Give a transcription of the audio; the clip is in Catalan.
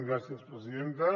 gràcies presidenta